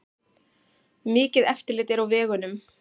Mikið eftirlit er á vegunum